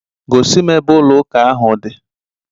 Gosi m ebe ụlọ ụka ahụ di